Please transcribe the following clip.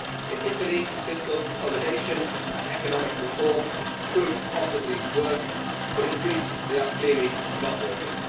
In Italy, fiscal consolidation and economic reform could possibly work, but in Greece they are clearly not working.